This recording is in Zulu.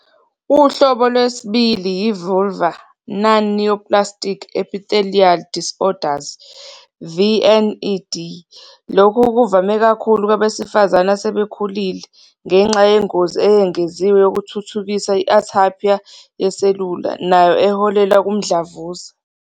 Uhlobo lwesibili yi-vulvar non-neoplastic epithelial disorders, VNED. Lokhu kuvame kakhulu kwabesifazane asebekhulile, ngenxa yengozi eyengeziwe yokuthuthukisa i-atypia yeselula nayo eholela kumdlavuza.